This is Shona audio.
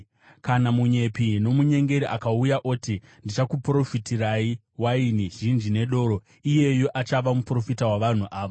Kana munyepi nomunyengeri akauya oti, ‘Ndichakuprofitirai waini zhinji nedoro,’ iyeyu achava muprofita wavanhu ava!